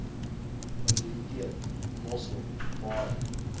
biblioteek mossel baai